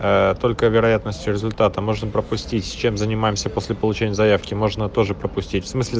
аа только вероятность результата можно пропустить чем занимаемся после получения заявки можно тоже пропустить в смысле